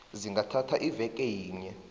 zingathatha iveke yinye